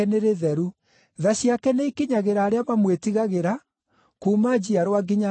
Tha ciake nĩikinyagĩra arĩa mamwĩtigagĩra, kuuma njiarwa nginya njiarwa.